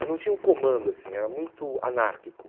Mas não tinha um comando assim, era muito anárquico.